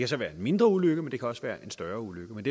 så være en mindre ulykke men det kan også være en større ulykke men